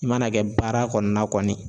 I mana kɛ baara kɔnɔna ye